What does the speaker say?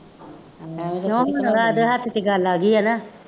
ਜੋ ਵੀ ਹੋਣਾ ਇਹਦੇ ਹੱਥ ਚ ਗੱਲ ਆ ਗਈ ਹੈ ਨਾ